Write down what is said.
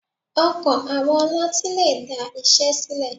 Ọkàn àwọn ọlọ́tín lè da iṣẹ́ sílẹ̀.